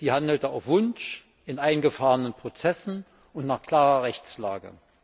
Sie handelte auf Wunsch, in eingefahrenen Prozessen und nach klarer Rechtslage.